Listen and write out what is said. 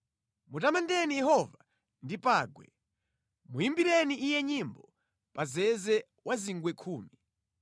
Mutamandeni Yehova ndi pangwe; muyimbireni Iye nyimbo pa zeze wa zingwe khumi.